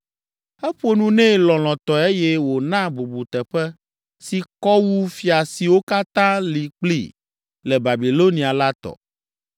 Eƒo nu nɛ lɔlɔ̃tɔe eye wòna bubuteƒe si kɔ wu fia siwo katã li kpli le Babilonia la tɔ.